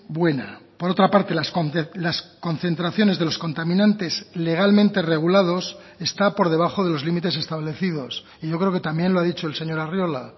buena por otra parte las concentraciones de los contaminantes legalmente regulados está por debajo de los límites establecidos y yo creo que también lo ha dicho el señor arriola